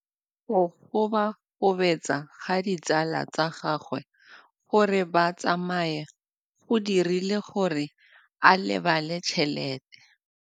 Go gobagobetsa ga ditsala tsa gagwe, gore ba tsamaye go dirile gore a lebale tšhelete.